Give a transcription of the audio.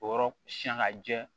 O yɔrɔ siyan ka jɛ